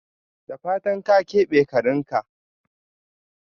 Da fatan ka kebe karinka?